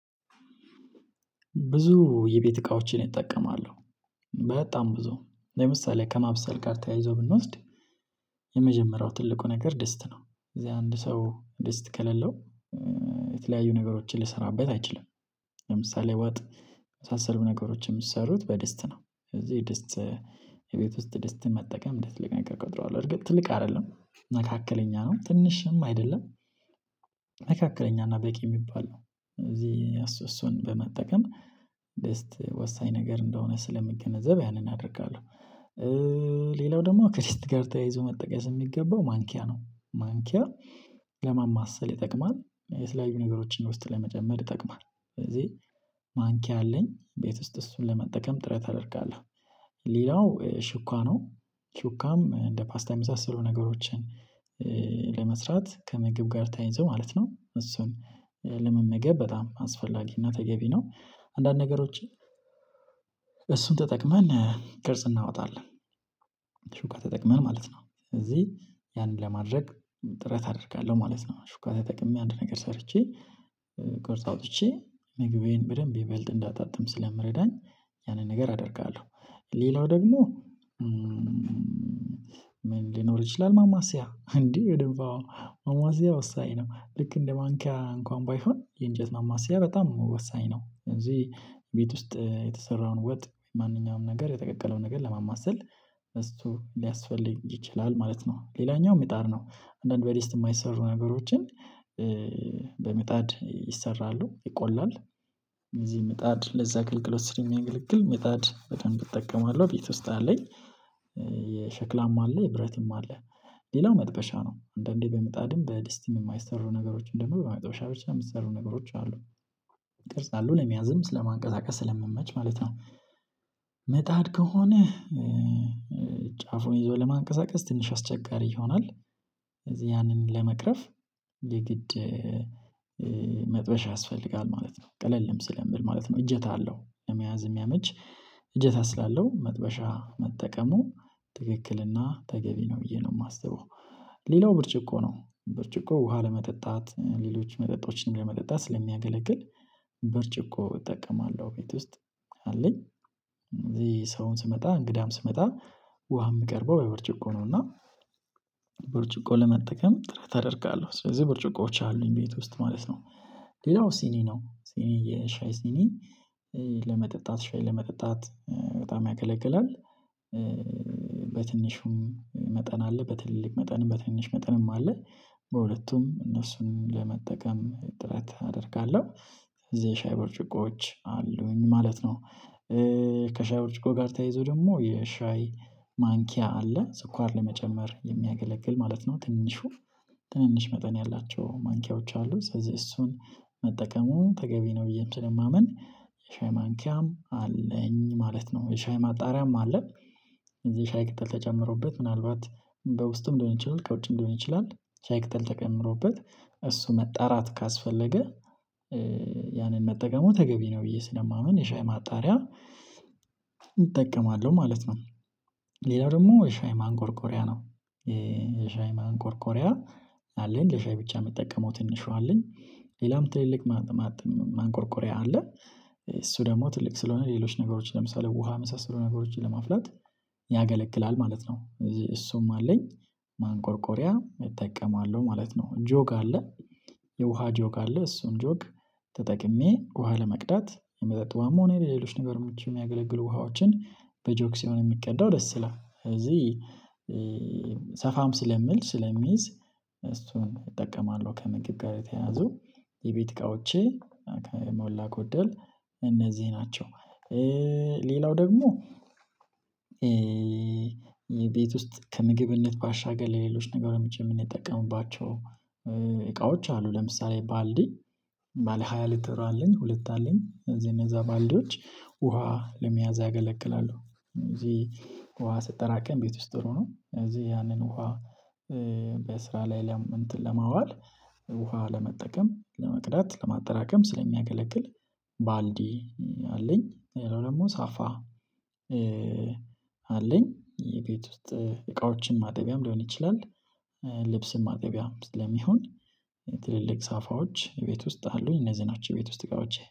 ብዙ የቤት እቃዎችን እጠቀማለሁ። በጣም ብዙ ለምሳሌ ከማብሰል ጋር ተያይዞ ብንወስድ የመጀመሪያው ትልቁ ነገር ድስት ነው። እዚህ አንድ ሰው ደስት ከሌለው የተለያዩ ነገሮችን ሊሰራበት አይችልም። ለምሳሌ ወጥ የመሳሰሉ ነገሮችን የሚሰሩት በድስት ነው። ስለዚህ ድስት የቤት ውስጥ ድስትን መጠቀም እንደ ትልቅ ነገር እቆጥረዋለሁ። እርግጥ ትልቅ አይደለም መካከለኛ ነው ትንሽም አይደለም መካከለኛ እና በቂ የሚባል ነው። እዚህ እሱን በመጠቀም ድስት ወሳኝ ነገር እንደሆነ ስለሚገነዘብ ያንን አደርጋለሁ። ሌላው ደግሞ ከድስት ጋር ተያይዞ መጠቀስ የሚገባው ማንኪያ ነው። ማንኪያ ለማማሰል ይጠቅማል የተለያዩ ነገሮችን ውስጥ ለመጨመር ይጠቅማል። ስለዚህ ማንኪያ አለኝ ቤት ውስጥ እሱን ለመጠቀም ጥረት አደርጋለሁ። ለምሳሌ ውጥ የመሳሰሉ ነገሮች የሚሰሩት በድስት ነው። ስለዚህ ድስት የቤት ውስጥ ድስትን መጠቀም እንድትልቅ ነገር እቆጥረዋለሁ። እርግጥ ትልቅ አይደለም መካከለኛ ነው ትንሽም አይደለም ለመስራት ከምግብ ጋር ተይይዞ ማለት ነው። እሱን ለመመገብ በጣም አስፈላጊና ተገቢ ነው አንዳንድ ነገሮችን እሱን ተጠቅመን ቅርጽ እናወጣለን። ሹካ ተጠቅመን ማለት ነው እዚህ ያንን ለማድረግ ጥረት አደርጋለሁ ማለት ነው። ሹካ ተጠቅሜ አንድ ነገር ሰርቼ ቅርጽ አውጥቼ ምግቤን በደንብ ይበልጥ እንዳጣጥም ስለምረዳኝ ያንን ነገር አደርጋለሁ። ሌላው ደግሞ ምን ሊኖር ይችላል? ማማሲያ እንዴ በደንብ አዎ ማማሲያ ወሳኝ ነው። ልክ እንደ ማንኪያ እንኳን ባይሆን የእንጨት ማማሲያ በጣም ወሳኝ ነው። እዚህ ቤት ውስጥ የተሰራውን ወጥ ማንኛውም ነገር የተቀቀለውን ነገር ለማማሰል እሱ ሊያስፈልግ ይችላል ማለት ነው። ሌላኛው ምጣድ ነው። አንዳንድ በድስት የማይሰሩ ነገሮችን በምጣድ ይሰራሉ ይቆላል። እዚህ ምጣድ ለዛ ግልግሎት ስለሚያገልግል ምጣድ በደንብ እጠቀማለሁ ቤት ውስጥ አለኝ። የሸክላም አለ የብረትም አለ። ሌላው መጥበሻ ነው። አንዳንዴ በምጣድም በድስቲም የማይሰሩ ነገሮችን ደግሞ በመጠበሻ ብቻ የሚሰሩ ነገሮች አሉ። ይቀርጻሉ ለመያዝም ስለማንቀሳቀስ ስለሚመች ማለት ነው። መጣድ ከሆነ ጫፉን ይዞ ለማንቀሳቀስ ትንሽ አስቸጋሪ ይሆናል። ስለዚህ ያንን ለመቅረፍ የግድ መጥበሻ ያስፈልጋል ማለት ነው። ቀለልም ስለሚል ማለት ነው። እጀታ አለው ለመያዝ የሚያመች እጀታ ስላለው መጥበሻ መጠቀሙ ትክክልና ተገቢ ነው ብዬ ነው የማስበው። ሌላው ብርጭቆ ነው። ብርጭቆ ውሃ ለመጠጣት ሌሎች መጠጦችንም ለመጠጣት ስለሚያገለግል። ብርጭቆ እጠቀማለሁ ቤት ውስጥ አለኝ። እዚህ ሰውም ሲመጣ እንግዳም ሲመጣ ውሃ የምቀርበው በብርጭቆ ነው። እና ብርጭቆ ለመጠቀም ትረጥ አደርጋለሁ ስለዚህ ብርጭቆዎች አሉኝ ቤት ውስጥ ማለት ነው። ሌላው ሲኒ ነው። ሲኒ የሻይ ሲኒ ለመጠጣት ሻይ ለመጠጣት በጣም ያገለግላል። በትንሹም መጠን አለ በትልልቅ መጠንም በትንሽ መጠንም አለ። በሁለቱም እነሱን ለመጠቀም ጥረት አደርጋለሁ። እዚህ የሻይ ብርጭቆዎች አሉኝ ማለት ነው። ከሻይ ብርጭቆ ጋር ተያይዞ ደግሞ የሻይ ማንኪያ አለ ስኳር ለመጨመር የሚያገለግል ማለት ነው። ትንሹ ትንንሽ መጠን ያላቸው ማንኪያዎች አሉ ስለዚህ እሱን መጠቀሙ ተገቢ ነው ብዬም ስለማምን የሻይ ማንኪያም አለኝ ማለት ነው። የሻይ ማጣሪያም አለ። እዚህ ሻይ ቅጠል ተጨምሮበት ምናልባት በውስጡም ሊሆን ይችላል ከውጪም ሊሆን ይችላል። ሻይ ቅጠል ተጨምሮበት እሱ መጣራት ካስፈለገ ያንን መጠቀሙ ተገቢ ነው ብዬ ስለማምን የሻይ ማጣሪያ እጠቀማለሁ ማለት ነው። ሌላው ደግሞ የሻይ ማንቆርቆሪያ ነው። የሻይ ማንቆርቆሪያ አለኝ ለሻይ ብቻ የምጠቀመው ትንሿ አለኝ ሌላም ትልልቅ ማጥም ማንቆርቆሪያ አለ። እሱ ደግሞ ትልቅ ስለሆነ ሌሎች ነገሮች ለምሳሌ ውሃ የመሳሰሉ ነገሮችን ለማፍላት ያገለግላል ማለት ነው። እዚህ እሱም አለኝ። ማንቆርቆሪያ እጠቀማለሁ ማለት ነው ጆግ አለ። የውሃ ጆግ አለ እሱን ጆግ ተጠቅሜ ውሃ ለመቅዳት የመጠጥ ውሃም ሆነ የሌሎች ነገር የሚያገለግሉ ውሃዎችን በጆክ ሲሆን የሚቀዳው ደስ ይላል። እዚህ ሰፋም ስለሚል ስለሚይዝ እሱን እጠቀማለሁ። ከምግብ ጋር የተያያዙ የቤት እቃዎቼ ከሞላ ጎደል እነዚህ ናቸው። ሌላው ደግሞ ቤት ውስጥ ከምግብነት ባሻገር ለሌሎች ነገሮች የምንጠቀምባቸው እቃዎች አሉ። ለምሳሌ ባልዲ ባለሃያ ሊትር አለኝ ሁለት አለኝ ስለዚህ እነዛ ባልዲዎች ውሃ ለመያዝ ያገለግላሉ። እዚህ ውሃ ሲጠራቀም ቤት ውስጥ ብሎ ነው እዚህ ያንን ውሃ በስራ ላይ እንትን ለማዋል ውሃ ለመጠቀም ለመቅዳት ለማጠራቀም ስለሚያገለግል ባልዲ አለኝ። ሌላው ደግሞ ሳፋ አለኝ የቤት ውስጥ እቃዎችን ማጠቢያም ሊሆን ይችላል። ልብስን ማጠቢያም ስለሚሆን ትልልቅ ሳፋዎች ቤት ውስጥ አሉኝ እነዚህ ናቸው። ቤት ውስጥ እቃዎቼ